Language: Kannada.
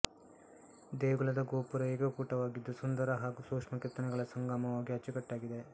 ದೇಗುಲದ ಗೋಪುರ ಏಕಕೂಟವಾಗಿದ್ದು ಸುಂದರ ಹಾಗೂ ಸೂಕ್ಷ್ಮ ಕೆತ್ತನೆಗಳ ಸಂಗಮವಾಗಿ ಅಚ್ಚುಕಟ್ಟಾಗಿದೆ